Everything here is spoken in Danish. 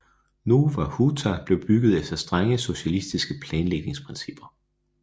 Nowa Huta blev bygget efter strenge socialistiske planlægningsprincipper